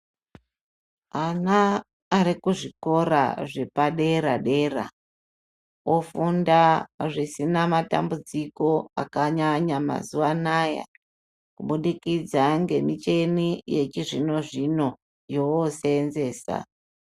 Ana ari kuzvikora zvepadera dera, ofunda zvisina matambudziko akanyanya mazuva anaya kubudikidza ngemichini yechizvino zvino yovooseenzesa.